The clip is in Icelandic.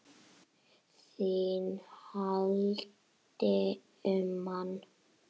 ÞÍN HALDI UM MANN!